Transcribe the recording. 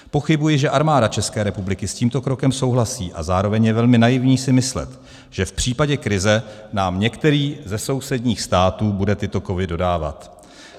Pochybuji, že Armáda České republiky s tímto krokem souhlasí, a zároveň je velmi naivní si myslet, že v případě krize nám některý ze sousedních států bude tyto kovy dodávat.